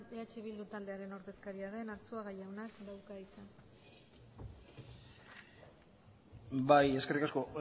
eh bildu taldearen ordezkaria den arzuaga jaunak dauka hitza bai eskerrik asko